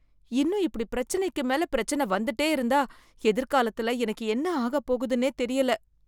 இன்னும் இப்படி பிரச்சினைக்கு மேல பிரச்சனை வந்துட்டே இருந்தா எதிர்காலத்துல எனக்கு என்ன ஆகப்போகுதுன்னே தெரியல.